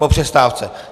Po přestávce.